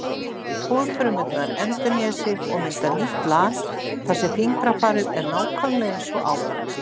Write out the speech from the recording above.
Húðfrumurnar endurnýja sig og mynda nýtt lag þar sem fingrafarið er nákvæmlega eins og áður.